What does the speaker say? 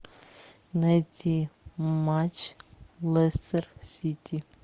найти матч лестер сити